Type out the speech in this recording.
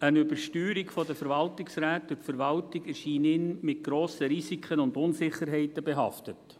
Eine Übersteuerung der Verwaltungsräte durch die Verwaltung erscheine ihm mit grossen Risiken und Unsicherheiten behaftet.